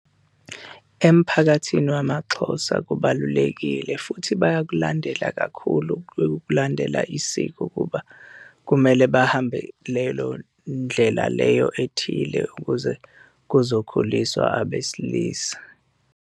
Emphakathini wamaXhosa kubalulekile futhi bayakulandela kakhulu ukulandela isiko ukuba kumele bahambe lelo ndlela leyo ethile ukuze kuzokhuliswa abesilisa.